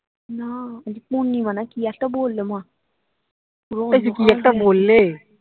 না আজ পূর্ণিমা না কি একটা বললো মা